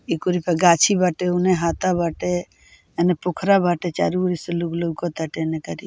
इ कुल क गाछी बाटे ओने हाथा बाटे एने पोखरा बाटे चारो ओर से लोग लउकोता --